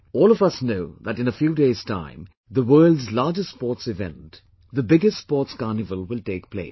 All of us know that in a few days time, the world's largest sports event, the biggest sports carnival will take place